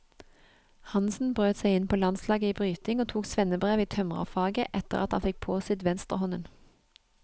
Hansen brøt seg inn på landslaget i bryting og tok svennebrev i tømrerfaget etter at han fikk påsydd venstrehånden.